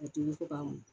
A tobi fo k'a mɔ